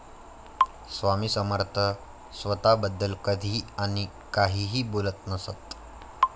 स्वामी समर्थ स्वतःबद्दल कधीही आणि काहीही बोलत नसत.